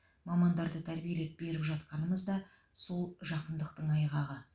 мамандарды тәрбиелеп беріп жатқанымыз да сол жақындықтың айғағы